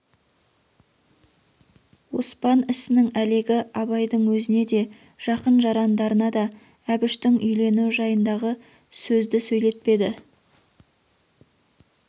оспан ісінің әлегі абайдың өзіне де жақын-жарандарына да әбіштің үйленуі жайындағы сөзді сөйлетпеді